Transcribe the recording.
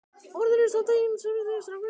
Orðin eru samt það eina sem þessi strákur á.